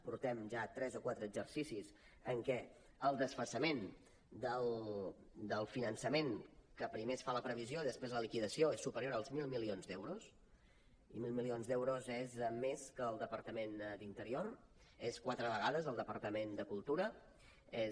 portem ja tres o quatre exercicis en què el desfasament del finançament que primer es fa la previsió i després la liquidació és superior als mil milions d’euros i mil milions d’euros és més que el departament d’interior és quatre vegades el departament de cultura és